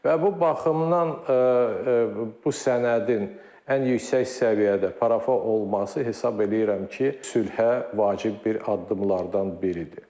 Və bu baxımdan bu sənədin ən yüksək səviyyədə parafa olması hesab eləyirəm ki, sülhə vacib bir addımlardan biridir.